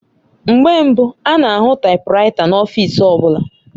Mgbe mbu ana ahụ taipuraita n'ọfịs ọbụla